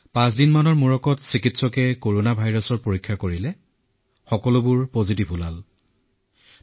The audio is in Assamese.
পাঁচছয়দিনৰ পিছত চিকিৎসকে যেতিয়া কৰনা ভাইৰাছৰ পৰীক্ষা কৰিলে তেতিয়া ফলাফল ধনাত্মক আহিল